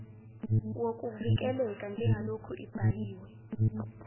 wokuvikeleka njengaloku ibhaliwe